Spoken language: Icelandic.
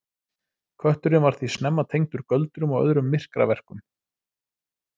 Kötturinn var því snemma tengdur göldrum og öðrum myrkraverkum.